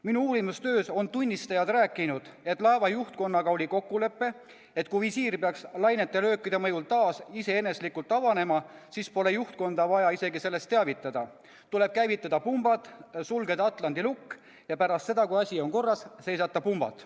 Minu uurimistöös on tunnistajad rääkinud, et laeva juhtkonnaga oli kokkulepe, et kui visiir peaks lainete löökide mõjul taas iseeneslikult avanema, siis pole juhtkonda vaja isegi sellest teavitada, tuleb käivitada pumbad, sulgeda atlandi lukk ja pärast seda, kui asi on korras, seisata pumbad.